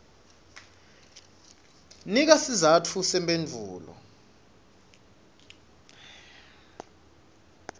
nika sizatfu semphendvulo